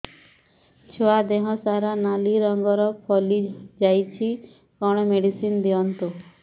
ଛୁଆ ଦେହ ସାରା ନାଲି ରଙ୍ଗର ଫଳି ଯାଇଛି କଣ ମେଡିସିନ ଦିଅନ୍ତୁ